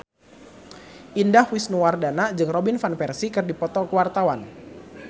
Indah Wisnuwardana jeung Robin Van Persie keur dipoto ku wartawan